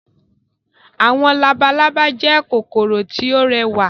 Àwọn labalábá jẹ́ kòkòrò tí ó rẹwà.